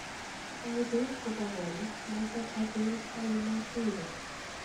Ae beek kobwa konyek notok achun ae matiiro